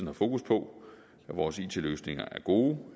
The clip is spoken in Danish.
har fokus på at vores it løsninger er gode